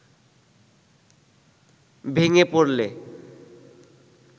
ভেঙে পড়লে